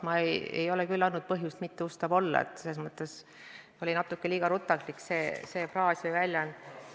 Ma ei ole küll andnud põhjust kahelda minu ustavuses, selles mõttes oli see natuke liiga rutakas väljend.